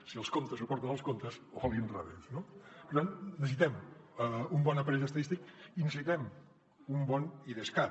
si els contes suporten els comptes o a l’inrevés no per tant necessitem un bon aparell estadístic i necessitem un bon idescat